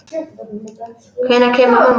Hvenær kemur mamma?